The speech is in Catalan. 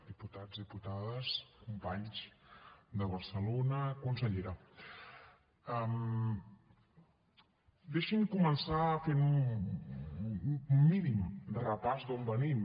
diputats diputades companys de barcelona consellera deixin me començar fent un mínim repàs d’on venim